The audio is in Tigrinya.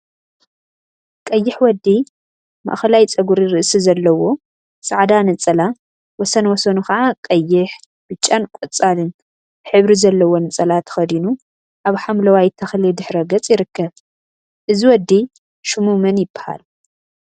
ቀይሕ ወዲ ማእከላይ ፀጉሪ ርእሲ ዘለዎ ፃዕዳ ነፀላ ወሰን ወሰኑ ከዓ ቀይሽ፣ ብጫን ቆፃልን ሕብሪ ዘለዎ ነፀላ ተከዲኑ አብ ሓምለዋይ ተክሊ ድሕረ ገፅ ይርከብ፡፡ እዚ ወዲ ሽሙ መን ይበሃል፡፡